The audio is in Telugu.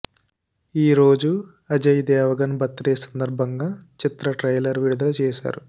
ఈ రోజు అజయ్ దేవగన్ బర్త్ డే సందర్భంగా చిత్ర ట్రైలర్ విడుదల చేశారు